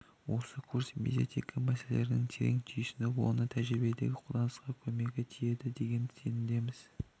осы курс медиаэтика мәселелерін терең түйсініп оны тәжірибедегі қолданысына көмегі тиеді деген сенімдеміз